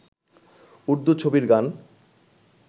উর্দুু ছবির গান